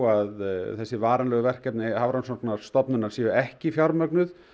að þessi varanlegu verkefni Hafrannsóknastofnunar séu ekki fjármögnuð